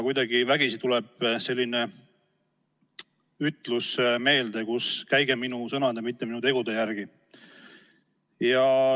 Kuidagi vägisi tuleb meelde ütlus, et käige minu sõnade, mitte minu tegude järgi.